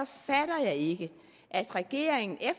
fatter jeg ikke regeringen